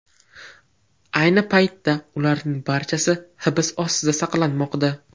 Ayni paytda ularning barchasi hibs ostida saqlanmoqda.